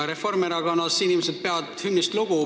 Reformierakonna inimesed peavad hümnist lugu.